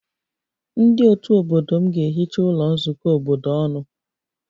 Ndị otu obodo m ga-ehicha ụlọ nzukọ obodo ọnụ